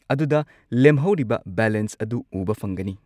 ꯑꯗꯨꯗ ꯂꯦꯝꯍꯧꯔꯤꯕ ꯕꯦꯂꯦꯟꯁ ꯑꯗꯨ ꯎꯕ ꯐꯪꯒꯅꯤ꯫